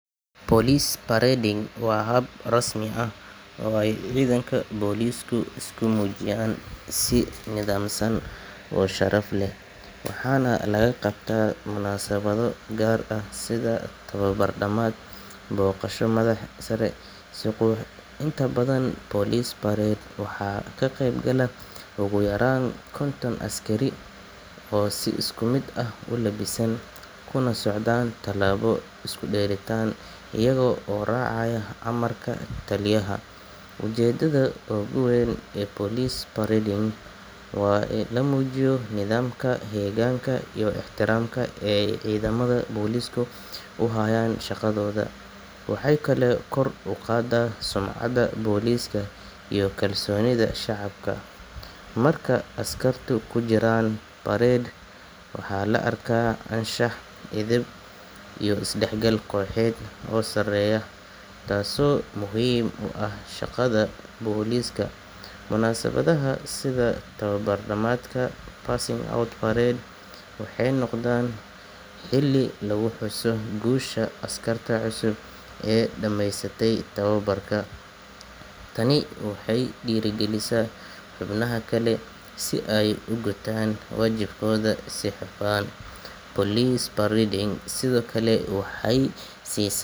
Police parading waa hab rasmi ah oo ay ciidanka boolisku isku muujiyaan si nidaamsan oo sharaf leh, waxaana lagu qabtaa munaasabado gaar ah sida tababar dhammaad, booqasho madax sare ama xus qaran. Inta badan police parade waxaa ka qeyb gala ugu yaraan konton askari oo si isku mid ah u labisan, kuna socdaan tallaabo isku dheelitiran iyaga oo raacaya amarka taliyaha. Ujeeddada ugu weyn ee police parading waa in la muujiyo nidaamka, heeganka iyo ixtiraamka ay ciidamada boolisku u hayaan shaqadooda. Waxay kaloo kor u qaaddaa sumcadda booliska iyo kalsoonida shacabka. Marka askartu ku jiraan parade, waxaa la arkaa anshax, edeb iyo isdhexgal kooxeed oo sareeya, taasoo muhiim u ah shaqada booliska. Munaasabadaha sida tababar dhammaadka, passing out parade, waxay noqdaan xilli lagu xuso guusha askarta cusub ee dhammeysatay tababarka. Tani waxay dhiirrigelisaa xubnaha kale si ay u gutaan waajibaadkooda si hufan. Police parading sidoo kale waxay sii.